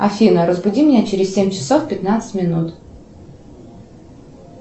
афина разбуди меня через семь часов пятнадцать минут